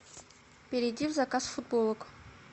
перейди в заказ футболок